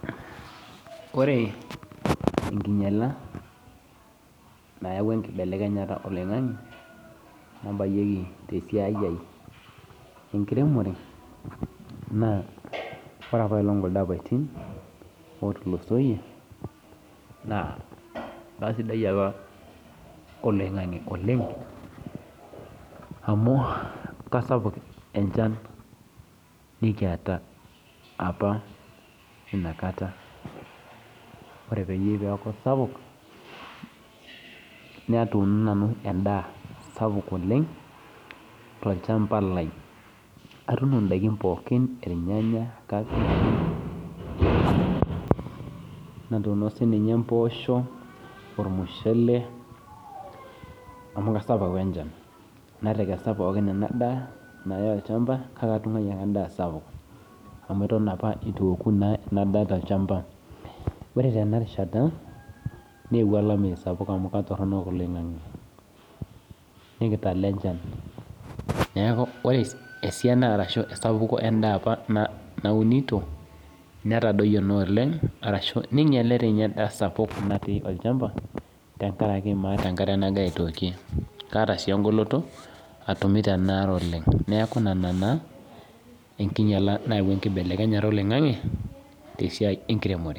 Kore enkinyiala nayaua enkibelekenyata oloing'ange nabayieki tesiai aai enkiremore naa ore kuldo apaitin ootulusoitie amu keisapu enchan apa inakata ore peeyie peeku sapuk natuuno nanu endaa sapuk oleng tolchamba lai natuuno siininye impoosho ormushele amu keisapuk apa echan ore tena rishata neeuo olameyu amu keitoronok oloing'ange neinyiale doi ninye endaa sapuk amu maata enkare kaata sii enkoloto atumito enaare oleng